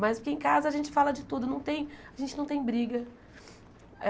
Mas porque em casa a gente fala de tudo, não tem a gente não tem briga.